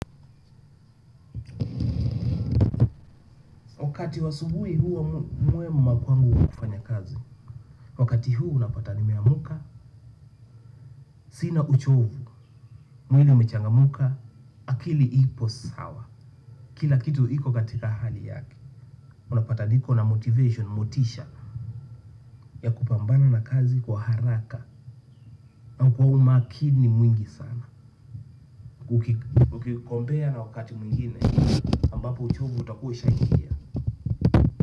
Wakati wa asubuhi huwa mwema kwangu wa kufanya kazi, wakati huo unapata nimeamka, sina uchovu, mwili umechangamka, akili ipo sawa. Kila kitu iko katika hali yake, unapata niko na motivation, motisha, ya kupambana na kazi kwa haraka. Kwa umakini mwingi sana, ukikompea na wakati mwingine, ambapo uchovu utakuwa ushaaingia.